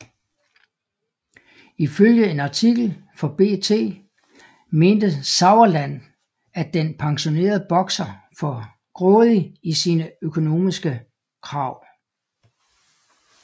Ifølge en artikel for BT mente Sauerland at den pensionerede bokser for grådig i sine økonomiske krav